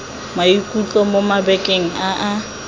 maikutlo mo mabakeng a a